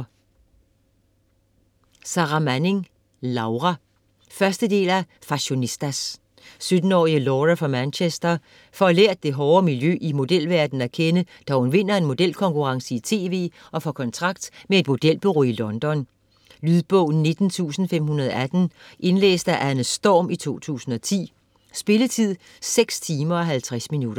Manning, Sarra: Laura 1. del af Fashionistas. 17-årige Laura fra Manchester får lært det hårde miljø i modelverdenen at kende, da hun vinder en modelkonkurrence i TV og får kontrakt med et modelbureau i London. Lydbog 19518 Indlæst af Anne Storm, 2010. Spilletid: 6 timer, 50 minutter.